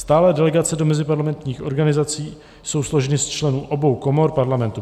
Stálé delegace do meziparlamentních organizací jsou složeny z členů obou komor Parlamentu.